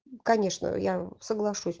конечно я соглашусь